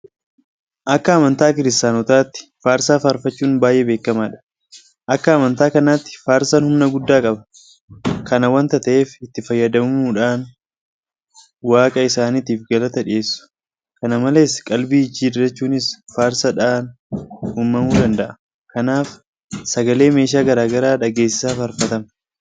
Akka amantaa kiristaanotaatti faarsaa faarfachuun baay'ee beekamaadha. Akka amantaa kanaatti Faarsaan humna guddaa qaba. Kana waanta ta'eef itti fayyadamuudhaan waaqa isaaniitiif galata dhiyeessu. Kana malees qalbii jijjiirrachuunis faarsaadhaan uumamuu danda'a. Kanaaf sagalee meeshaa garaa garaa dhageessisaa Faarfatama.